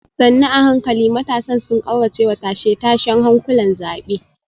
sannu a hankali matasan sun kauracewa tashe-tashen hankulan zabe